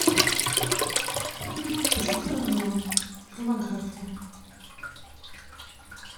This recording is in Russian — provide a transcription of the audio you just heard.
кристофер нолан фильмография